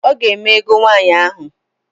Ọga eme egow nwaanyi ahu.